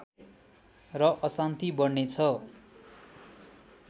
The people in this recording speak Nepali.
र अशान्ति बढ्ने छ